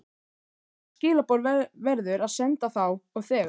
Hvaða skilaboð verður að senda þá og þegar?